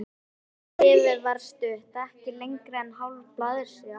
Bréfið var stutt, ekki lengra en hálf blaðsíða.